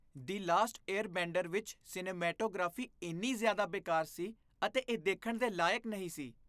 "ਦਿ last airbender" ਵਿੱਚ cinematography ਇੰਨੀ ਜ਼ਿਆਦਾ ਬੇਕਾਰ ਸੀ ਅਤੇ ਇਹ ਦੇਖਣ ਦੇ ਲਾਇਕ ਨਹੀਂ ਸੀ।